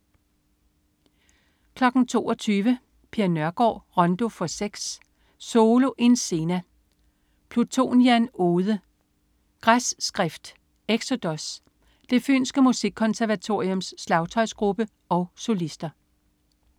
22.00 Per Nørgård. Rondo for seks. Solo in scena. Plutonian ode. Græsskrift. Exodus. Det fynske Musikkonservatoriums slagtøjsgruppe og solister